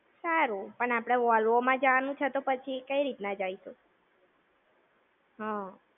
સારું, પણ આપણે Volvo માં જવાનું છે તો પછી કઈ રીતના જઈશું?